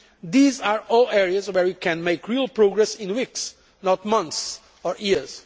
These are all areas where we can make real progress in weeks, not months or years.